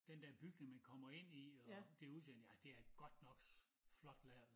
Den dér bygning man kommer ind i og det udseende ja det er godt nok flot lavet